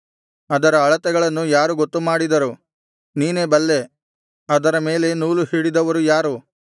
ಅದರ ಅಳತೆಗಳನ್ನು ಯಾರು ಗೊತ್ತುಮಾಡಿದರು ನೀನೇ ಬಲ್ಲೆ ಅದರ ಮೇಲೆ ನೂಲುಹಿಡಿದವರು ಯಾರು